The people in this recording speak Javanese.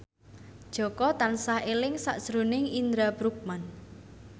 Jaka tansah eling sakjroning Indra Bruggman